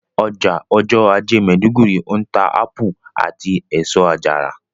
Ọjà ọjọ́ ajé maiduguri ń ta ápù àti èso àjàrà